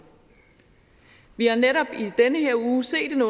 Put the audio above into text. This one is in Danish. vi har netop i den her uge set